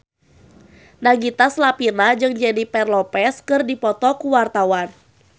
Nagita Slavina jeung Jennifer Lopez keur dipoto ku wartawan